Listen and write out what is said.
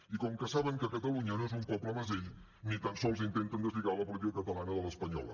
i com que saben que catalunya no és un poble mesell ni tan sols intenten deslligar la política catalana de l’espanyola